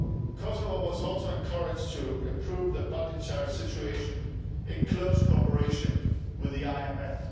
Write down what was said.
Kosovo was also encouraged to improve the budgetary situation, in close cooperation with the IMF.